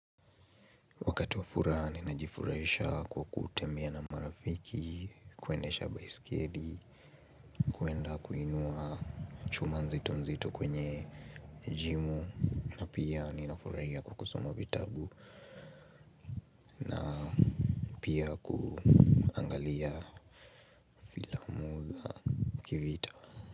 Wakati wa furaha, ninajifurahisha kwa kuutembea na marafiki, kuendesha baisikeli, kuenda kuinua chuma nzito nzito kwenye jimu, na pia ninafurahia kwa kusoma vitabu, na pia kuangalia filamu za kivita.